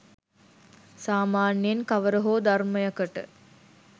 සාමාන්‍යයෙන් කවර හෝ ධර්මයකට